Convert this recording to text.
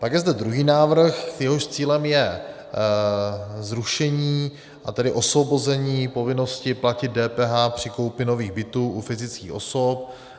Pak je zde druhý návrh, jehož cílem je zrušení, a tedy osvobození povinnosti platit DPH při koupi nových bytů u fyzických osob.